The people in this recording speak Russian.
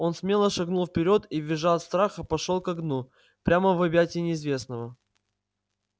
он смело шагнул вперёд и визжа от страха пошёл ко дну прямо в объятия неизвестного